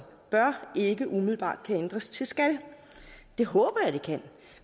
bør ikke umiddelbart kan ændres til skal det håber jeg det kan